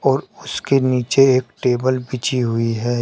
और उसके नीचे एक टेबल बिछी हुई है।